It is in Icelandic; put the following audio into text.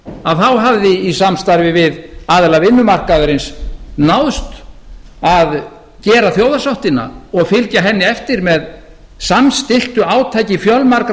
að þá hafði í samstarfi við aðila vinnumarkaðarins náðst að gera þjóðarsáttina og fylgja henni eftir með samstilltu átaki fjölmargra